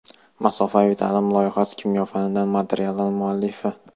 "Masofaviy ta’lim" loyihasining kimyo fanidan materiallar muallifi.